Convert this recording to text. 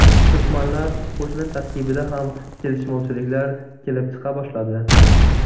Turkmanlar qo‘shini tarkibida ham kelishmovchiliklar kelib chiqa boshladi.